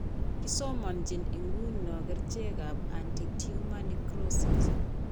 Kisomanjin ng'uno kerchekap anti tumor necrosis.